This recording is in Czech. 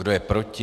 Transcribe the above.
Kdo je proti?